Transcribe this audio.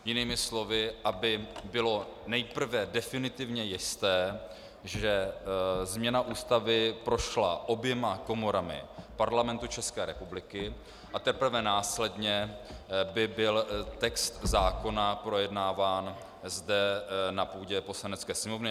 Jinými slovy, aby bylo nejprve definitivně jisté, že změna Ústavy prošla oběma komorami Parlamentu České republiky, a teprve následně by byl text zákona projednáván zde na půdě Poslanecké sněmovny.